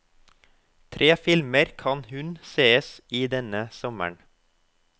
Tre filmer kan hun sees i denne sommeren.